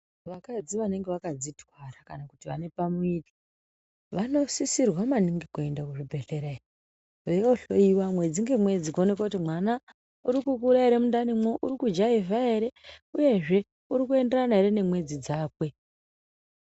Vakadzi vanenge vakadzitwara kana vane pamuviri, vanosisirwa maningi kuenda kuzvibhehlera iyo, veindo hloyiwa mwedzi ngemwedzi kuti mwana uri kukura ere mundanimwo, urikujaivha ere uyezve urikuenderana ere nemwedzi dzake.